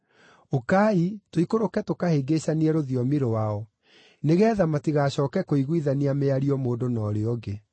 Ũkai, tũikũrũke tũkahĩngĩcanie rũthiomi rwao, nĩgeetha matigacooke kũiguithania mĩario mũndũ na ũrĩa ũngĩ.”